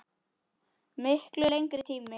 Miklu lengri tíma.